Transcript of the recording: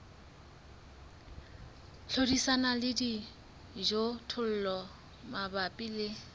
hlodisana le dijothollo mabapi le